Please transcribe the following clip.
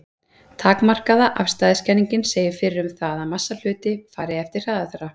Takmarkaða afstæðiskenningin segir fyrir um það að massi hluta fari eftir hraða þeirra.